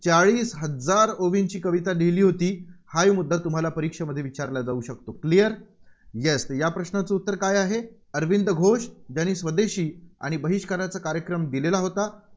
चाळीस हजार ओळींची कविता लिहिली होती. हाही मुद्दा तुम्हाला परीक्षेत विचारला जाऊ शकतो. Clear Yes या प्रश्नाचं उत्तर काय आहे? अरविंद घोष. ज्यांनी स्वदेशी आणि बहिष्काराचा कार्यक्रम दिलेला होता.